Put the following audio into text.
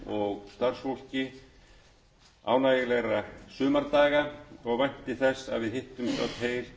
þingmönnum og starfsfólki ánægjulegra sumardaga og vænti þess að við